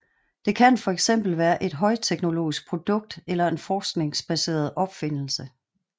Det kan for eksempel være et højteknologisk produkt eller en forskningsbaseret opfindelse